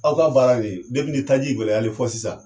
Aw ka baara nin ni taji gɛlɛyalen fo sisan